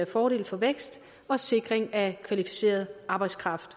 fordel for vækst og sikring af kvalificeret arbejdskraft